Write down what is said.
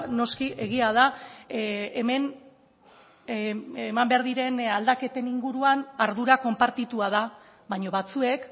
noski egia da hemen eman behar diren aldaketen inguruan ardura konpartitua da baina batzuek